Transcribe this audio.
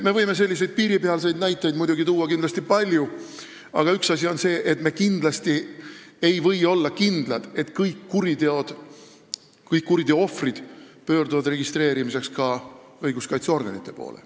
Me võime selliseid piiripealseid näiteid tuua palju, aga üks asi on see, et me kindlasti ei või olla kindlad, et kõik kuriteoohvrid pöörduvad kuriteo registreerimiseks õiguskaitseorganite poole.